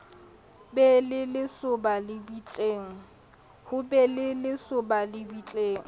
ho be le lesoba lebitleng